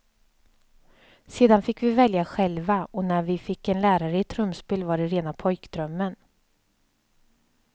Sedan fick vi välja själva och när vi fick en lärare i trumspel var det rena pojkdrömmen.